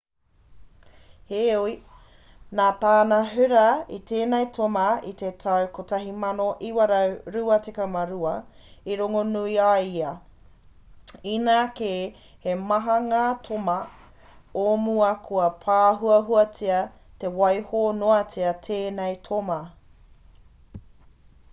heoi nā tāna hura i tēnei toma i te tau 1922 i rongonui ai ia inā kē he maha ngā toma o mua kua pāhuahuatia i waiho noatia tēnei toma